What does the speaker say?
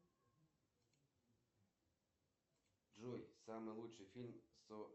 сбер скажи пожалуйста как можно отключить автоплатеж на мобильный номер